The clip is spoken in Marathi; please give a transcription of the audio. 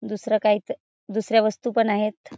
दुसरं काही इथ दुसऱ्या वस्तु पण आहेत.